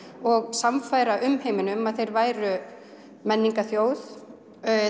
og sannfæra umheiminn um að þeir væru menningarþjóð